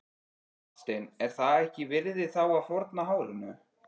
Hafsteinn: Er það þess virði þá að fórna hárinu?